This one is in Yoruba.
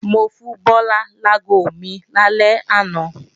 Mo fún Bọ́lá láago mi lálẹ́ àná